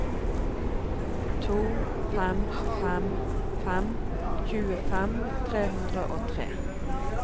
to fem fem fem tjuefem tre hundre og tre